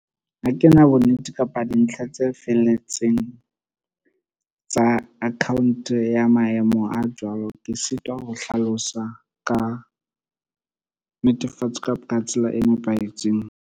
Ha ke na bonnete kapa dintlha tse felletseng tsa account ya maemo a jwalo. Ke sitwa ho hlalosa ka netefatsa kapa ka tsela e nepahetseng.